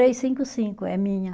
cinco cinco, é minha.